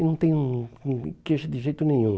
E não tenho nenhuma queixa de jeito nenhum.